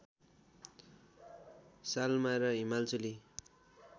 सालमा र हिमालचुली